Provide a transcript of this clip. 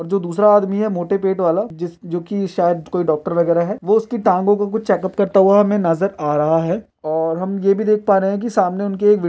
जो दूसरा आदमी है मोठे पेट वाला जोकि शायद कोई डॉक्टर वागेरा है। वो उसकी टांगों को कुछ चेक उप करता हुआ हमे नजर आ रहा है। और हम ये भी देख पा रहे है की सामने उनके एक विड --